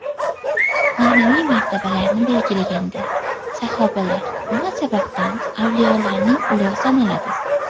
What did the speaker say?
Ma’naviy martabalarni belgilaganda, sahobalar nima sababdan avliyolarning ulug‘i sanaladi?